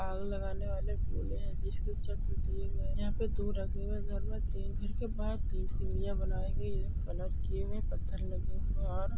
आग लगाने वाले बोले हे की यहा पे दो रखे हुए है। घर मे तीन घर के बाहर तीन सीढ़िया बनाई गई है। कलर किए हुए पत्थर लगे हुए और--